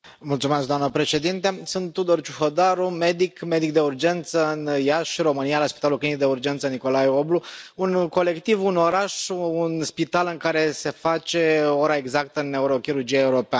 Doamnă președintă, sunt Tudor Ciuhodaru, medic de urgență în Iași, România, la Spitalul Clinic de Urgență Nicolae Oblu un colectiv, un oraș, un spital în care se face ora exactă în neurochirurgia europeană.